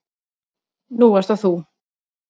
Nú ert það þú.